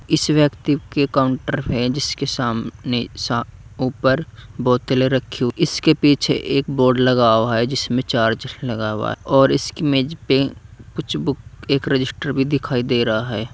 इस व्यक्ति के काउंटर हैं जिसके सामने सा ऊपर बोतलें रखी इसके पीछे एक बोर्ड लगा हुआ है जिसमें चार्ज लगा हुआ है और इसकी मेज पे कुछ बुक एक रजिस्टर भी दिखाई दे रहा है।